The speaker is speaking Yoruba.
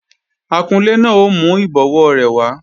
Akunlé náà ò mú ìbọwó rẹ̀ wá